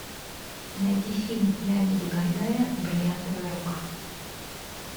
найди фильм леонида гайдая бриллиантовая рука